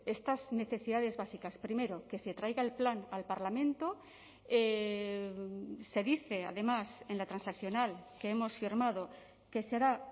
estas necesidades básicas primero que se traiga el plan al parlamento se dice además en la transaccional que hemos firmado que será